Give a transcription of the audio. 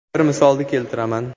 Bir misolni keltiraman.